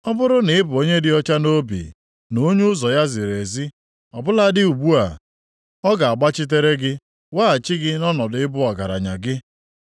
ọ bụrụ na ị bụ onye dị ọcha nʼobi na onye ụzọ ya ziri ezi, ọ bụladị ugbu a, ọ ga-agbachitere gị weghachi gị nʼọnọdụ ịbụ ọgaranya gị.